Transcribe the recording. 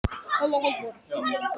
En nú skil ég ekki hvað veldur.